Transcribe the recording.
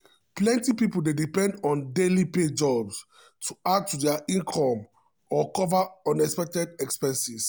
plenty people dey depend on daily pay jobs to add to dia income or cover unexpected expenses.